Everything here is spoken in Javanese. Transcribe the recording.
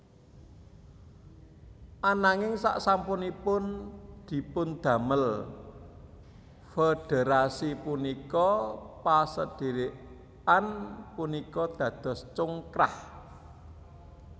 Ananging sasampunipun dipundamel Federasi punika pasadherekan punika dados congkrah